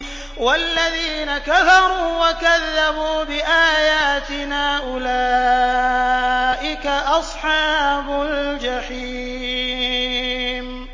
وَالَّذِينَ كَفَرُوا وَكَذَّبُوا بِآيَاتِنَا أُولَٰئِكَ أَصْحَابُ الْجَحِيمِ